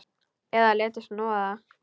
Eða léti snoða það.